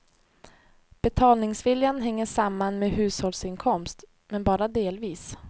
Betalningsviljan hänger samman med hushållsinkomst, men bara delvis.